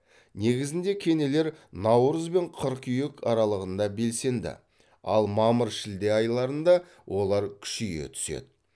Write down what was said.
негізінде кенелер наурыз бен қыркүйек аралығында белсенді ал мамыр шілде айларында олар күшейе түседі